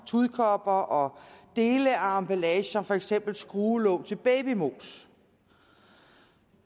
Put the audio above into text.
tudekopper og dele af emballage som for eksempel skruelåg til babymos